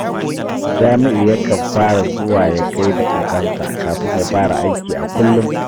Jami’u yakan fara zuwa ya gai da ogansa kafin ya fara aiki a kullum